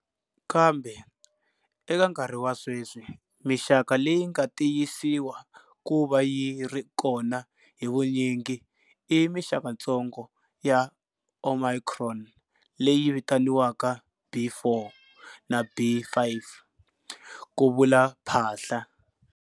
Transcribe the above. Kambe, eka nkarhi wa sweswi, mixaka leyi nga tiyisiwa ku va yi ri kona hi vunyingi i mixakatsongo ya Omicron leyi vitaniwaka B.4 na B.5, ku vula Phaahla.